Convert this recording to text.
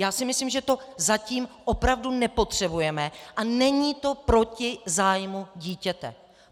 Já si myslím, že to zatím opravdu nepotřebujeme a není to proti zájmu dítěte.